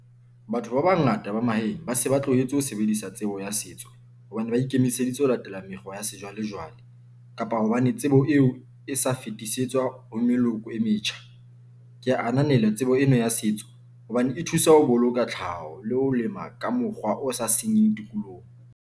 Batho ba bangata ba mahaeng ba se ba tlohetse ho sebedisa tsebo ya setso hobane ba ikemiseditse ho latela mekgwa ya sejwalejwale kapa hobane tsebo eo e sa fetisetswa ho meloko e metjha. Ke ananela tsebo ena ya setso hobane e thusa ho boloka tlhaho le ho lema ka mokgwa o sa senyeng tikoloho.